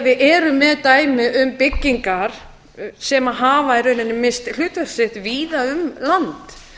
við erum með dæmi um byggingar sem hafa í rauninni misst hlutverk sitt víða um land